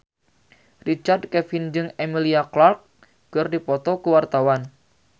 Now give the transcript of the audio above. Richard Kevin jeung Emilia Clarke keur dipoto ku wartawan